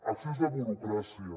excés de burocràcia